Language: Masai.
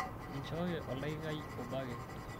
inchooki oldakikai obo ake